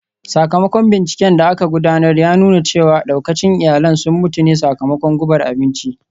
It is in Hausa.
Sakamakon binciken da aka gudanar ya nuna cewa daukacin iyalin sun mutu ne sakamakon gubar abinci